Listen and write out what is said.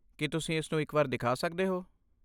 ਕੀ ਤੁਸੀਂ ਇਸਨੂੰ ਇੱਕ ਵਾਰ ਦਿਖਾ ਸਕਦੇ ਹੋ?